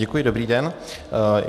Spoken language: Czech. Děkuji, dobrý den.